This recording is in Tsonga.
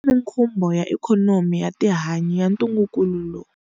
Eka mikhumbo ya ikhonomi ya tihanyi ya ntungukulu lowu.